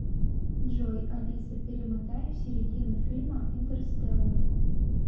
джой алиса перемотай в середину фильма интерстеллар